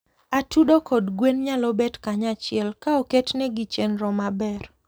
Atudo kod gwen nyalo dak kanyachiel ka oketnegi chenro maber.